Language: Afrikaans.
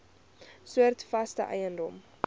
soorte vaste eiendom